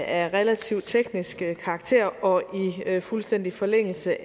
er af relativt teknisk karakter og i fuldstændig forlængelse